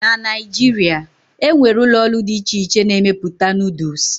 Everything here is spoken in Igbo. na Naijiria, e nwere ụlọ ọrụ dị iche iche na-emepụta Noodles